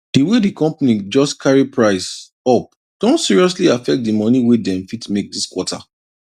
di way di company just carry price up don seriously affect di money wey dem fit make this quarter